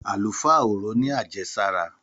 Àlùfáà orò ní àjẹsára.